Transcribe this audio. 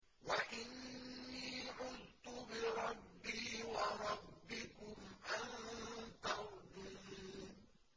وَإِنِّي عُذْتُ بِرَبِّي وَرَبِّكُمْ أَن تَرْجُمُونِ